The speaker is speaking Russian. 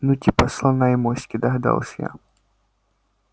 ну типа слона и моськи догадалась я